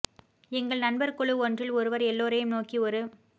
எங்கள் நண்பர் குழு ஒன்றில் ஒருவர் எல்லோரையும் நோக்கி ஒரு